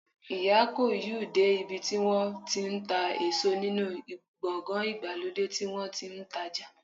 Iya ko you de ibi ti won ti n ta eso ninu gbogan igbalode ti won ti n taja